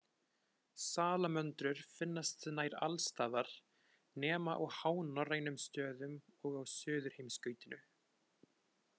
Salamöndrur finnast nær alls staðar nema á hánorrænum stöðum og á Suðurheimskautinu.